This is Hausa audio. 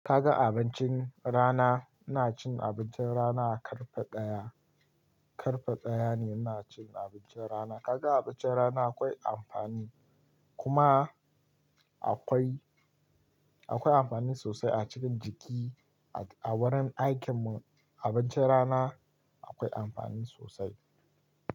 Kaga abincin rana, ina cin abincin rana ƙarfe ɗaya, ƙarfe ɗaya ne ina cin abincin rana. Kaga abincin rana akwai amfani kuma akwai, akwai amfani sosai a cikin jiki a wurin aikin mu abincin rana akwai amfani sosai.